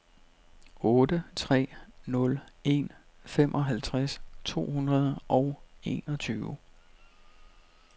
otte tre nul en femoghalvtreds to hundrede og enogtyve